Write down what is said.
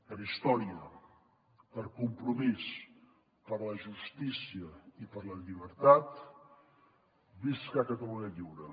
per història per compromís per la justícia i per la llibertat visca catalunya lliure